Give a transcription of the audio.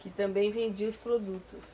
Que também vendia os produtos.